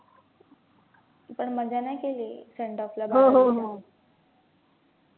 आपण मजा नाही केली sendoff ला